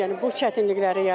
Yəni bu çətinlikləri yaradır.